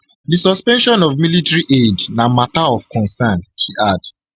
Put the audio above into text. di suspension of military aid na mata of concern she add